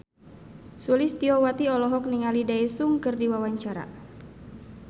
Sulistyowati olohok ningali Daesung keur diwawancara